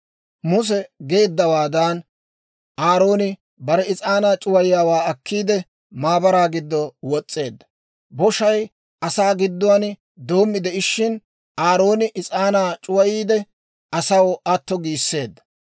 Muse geeddawaadan Aarooni bare is'aanaa c'uwayiyaawaa akkiide, maabaraa giddo wos's'eedda. Boshay asaa gidduwaan doommi de'ishin, Aarooni is'aanaa c'uwayiide, asaw atto giisseedda.